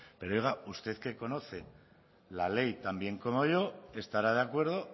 pero oiga usted que conoce la ley tan bien como yo estará de acuerdo